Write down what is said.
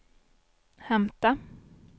hämta